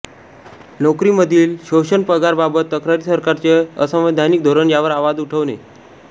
नोकरी मधील शोषण पगार बाबत तक्रारी सरकारचे असंवैधानिक धोरण यावर आवाज उठवणे